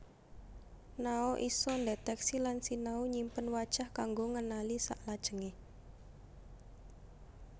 Nao isa ndetèksi lan sinau nyimpen wajah kanggo ngenali saklajengé